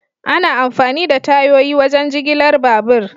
Ana amfani da tayoyi wajen jigilar babur.